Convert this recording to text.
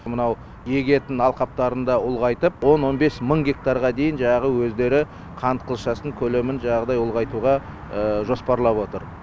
мынау егетін алқаптарын да ұлғайтып он он бес мың гектарға дейін жанағы өздері қант қылшасын көлемін жаңадағыдай ұлғайтуға жоспарлап отыр